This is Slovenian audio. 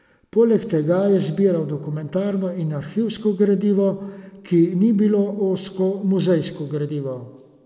Poleg tega je zbiral dokumentarno in arhivsko gradivo, ki ni bilo ozko muzejsko gradivo.